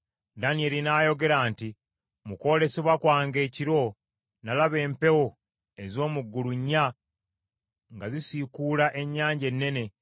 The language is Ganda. Danyeri n’ayogera nti, “Mu kwolesebwa kwange ekiro, nalaba empewo ez’omu ggulu nnya nga zisiikuula ennyanja ennene,